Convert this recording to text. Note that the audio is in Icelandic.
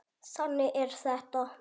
Þannig er þetta.